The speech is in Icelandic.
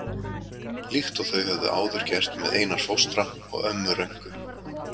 Líkt og þau höfðu áður gert með Einar fóstra og ömmu Rönku.